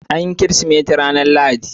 An yi Kirsimeti ranar Lahadi.